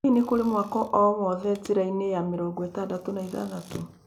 Hihi nĩ kũrĩ mwako o wothe njiĩra-inĩ ya mĩrongo ĩtandatũ na ithathatũ